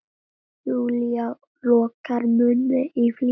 Júlía lokar munni í flýti.